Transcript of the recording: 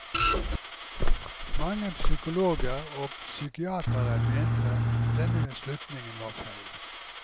Mange psykologer og psykiatere mente at denne slutningen var feil.